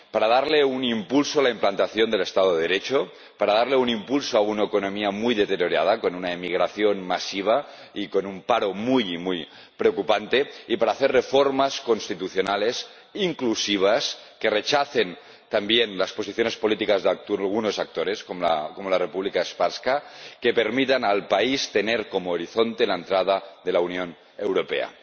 Para dar un impulso a la implantación del Estado de Derecho, para dar un impulso a una economía muy deteriorada, con una inmigración masiva y con un paro muy, muy preocupante, y para hacer reformas constitucionales inclusivas, que rechacen también las posiciones políticas de algunos actores, como la República Srpska, y que permitan al país tener como horizonte la entrada en la Unión Europea.